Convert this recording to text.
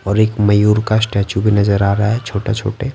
और एक मयूर का स्टैचू भी नजर आ रहा है छोटे-छोटे।